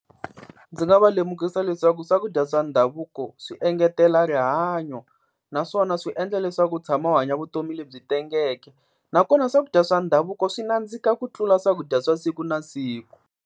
Ndzi nga va lemukisa leswaku swakudya swa ndhavuko swi engetela rihanyo, naswona swi endla leswaku u tshama u hanya vutomi lebyi tengeke. Nakona swakudya swa ndhavuko swi nandzika ku tlula swakudya swa siku na siku.